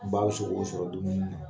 sogo sɔrɔ dumuni na